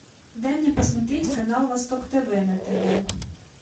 дай мне посмотреть канал восток тв на тв